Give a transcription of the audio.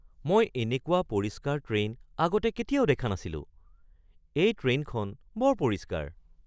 মই এনেকুৱা পৰিষ্কাৰ ট্ৰেইন আগতে কেতিয়াও দেখা নাছিলোঁ! এই ট্ৰেইনখন বৰ পৰিষ্কাৰ!